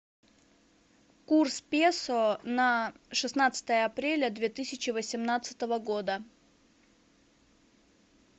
курс песо на шестнадцатое апреля две тысячи восемнадцатого года